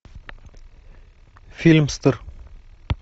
фильмстер